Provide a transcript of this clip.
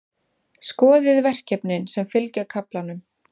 Skoðið verkefnin sem fylgja kaflanum.